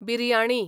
biryani